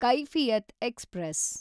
Kaifiyat express